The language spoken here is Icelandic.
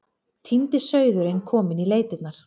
Týndi sauðurinn kominn í leitirnar.